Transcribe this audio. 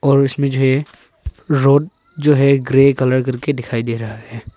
और उसमें जो है रोड जो है ग्रे कलर करके दिखाई दे रहा है।